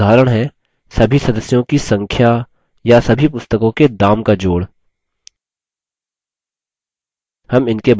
कुछ उदाहरण हैं सभी सदस्यों की संख्या या सभी पुस्तकों के sum का जोड़